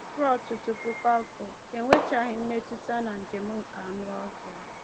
Ruo ọtụtụ puku afọ, e nwechaghị mmetụta na njem nke anụ ọhịa.